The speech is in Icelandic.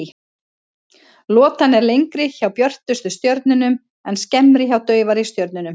Lotan er lengri hjá björtustu stjörnunum en skemmri hjá daufari stjörnum.